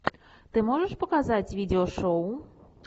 ты можешь показать видео шоу